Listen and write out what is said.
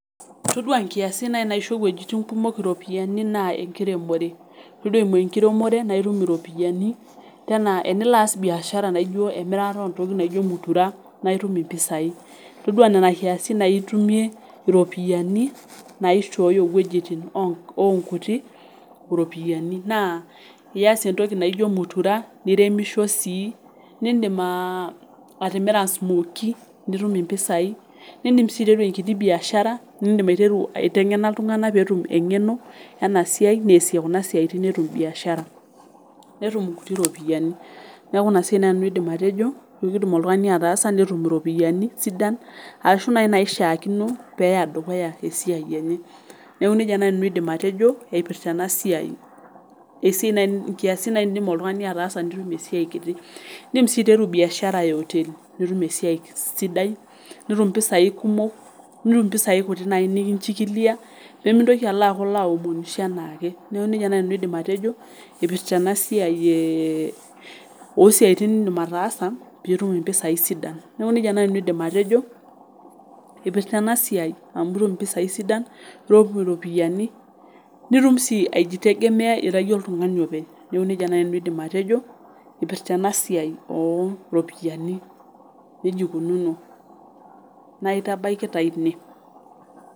Itodua nkiasin nai naisho wejitin kumok iropiyani naa enkiremore, todua eimu enkiremore naa itum iropiyiani tenaa enilo aas biashara naijo emirataoo ntokitin naijo mutira naa itum impisai ,itodua nena nkiasin naitume iropiyiani naishoyo eweji oonkuti iropiyosnio naa iyas entoki naijo mutira niremisho sii, nindim atimira smookie nitum impisai, nindim sii aiteru enkiti biashara niindim aitengena ltungana peetum engeno ena siai naasie kuna siatin netum mbiashara, netum nkutii iropiyiani, naaku ina siai nai ajo nanu aidim atojo keidim oltungani ataasa netum iropiyiani sidan ashu naa naishaakino peeya edukuya esiai enye, naaku neja nai aidim nanu atejo eipirta ena siai. Esiai nkiasin ena naidim ltungani ataasa netum esiai nkiti, indim sii aiteru imbiashara ehoteli nitum esiai sidai, nitum mpisai kumok, nitum mpisai kutii nai nikinchikilia pemintoki aaku ilo aomonisho anaake, naaku neja nai aidim nanu atejo eipirta ena siai oo siatin niindim ataasa piitum mpisai sidan naaku neja nai aidim nanu atejo eipirta ena siai amu itum mpisai sidan nioku iropiyiani, nitum sii aijitegemea ira iyie oltungani ake, naaku neja nii aidim nanu atejo eipirta ena siai oo iropiyiani, neja eikununo, naiotabaki taa inie.